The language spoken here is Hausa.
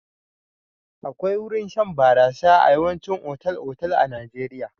Akwai wurin shan barasa a yawaicin otal-otal a Najeirya.